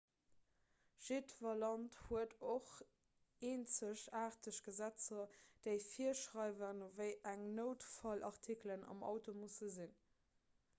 jiddwer land huet och eenzegaarteg gesetzer déi virschreiwen wéi eng noutfallartikelen am auto musse sinn